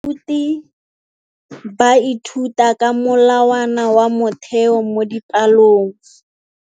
Baithuti ba ithuta ka molawana wa motheo mo dipalong.